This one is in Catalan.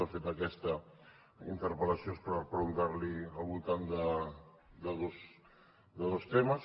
de fet aquesta interpellació és per preguntar li al voltant de dos temes